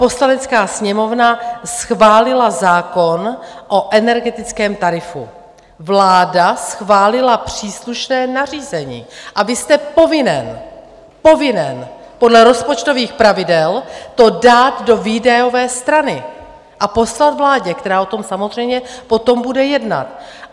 Poslanecká sněmovna schválila zákon o energetickém tarifu, vláda schválila příslušné nařízení a vy jste povinen, povinen! podle rozpočtových pravidel to dát do výdajové strany a poslat vládě, která o tom samozřejmě potom bude jednat.